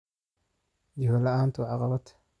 Jiho la'aantu waa caqabad.